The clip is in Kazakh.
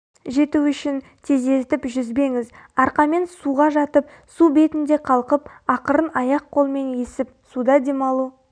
жету үшін тездетіп жүзбеңіз арқамен суға жатып су бетінде қалқып ақырын аяқ-қолмен есіп суда демалу